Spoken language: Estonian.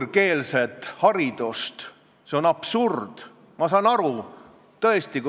Ja ma ütlen sulle, hea Karin, et ilmas on mehi, kes oskavad märgata imelisi naisi ka hoolimata sellest, et vahemaa meie vahel on päris pikk.